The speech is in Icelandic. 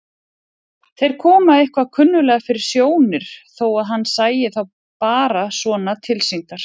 Þeir komu eitthvað kunnuglega fyrir sjónir þó að hann sæi þá bara svona tilsýndar.